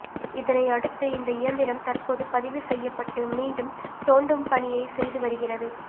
இதனை அடுத்து அந்த இயந்திரம் தற்போது பதிவு செய்யப்பட்டு மீண்டும் தோண்டும் பணியை செய்து வருகிறது